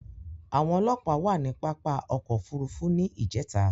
Àwọn òlọ́pà wà ni pàpá ọ̀kọ̀ ofúrúfú ní ìjẹta